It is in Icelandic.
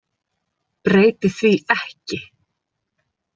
Breyti því ekki.